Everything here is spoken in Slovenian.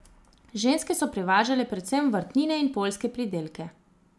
Ženske so prevažale predvsem vrtnine in poljske pridelke.